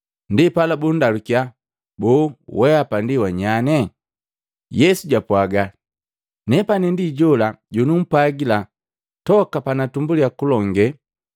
Ndipala bundalukiya, “Boo weapa ndi wanyanye?” Yesu japwaaga, “Nepani ndi jola jonumpwagila toka panatumbuliya kulonge.